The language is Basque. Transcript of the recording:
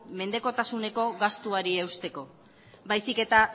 mendekotasuneko gastuari eusteko baizik eta